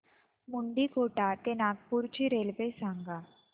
मुंडीकोटा ते नागपूर ची रेल्वे सांगा